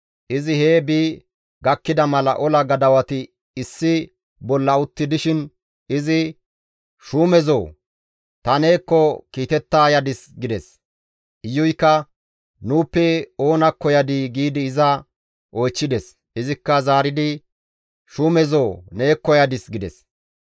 Izi hee bi gakkida mala ola gadawati issi bolla utti dishin izi, «Shuumezo, ta neekko kiitetta yadis» gides. Iyuykka «Nuuppe oonakko yadii?» giidi iza oychchides; izikka zaaridi, «Shuumezo, neekko yadis» gides.